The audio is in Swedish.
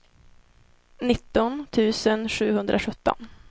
nitton tusen sjuhundrasjutton